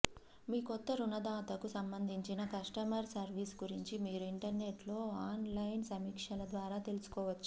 మీ కొత్త రుణదాతకు సంబంధించిన కస్టమర్ సర్వీస్ గురించి మీరు ఇంటర్నెట్ లో ఆన్ లైన్ సమీక్షల ద్వారా తెలుసుకోవచ్చు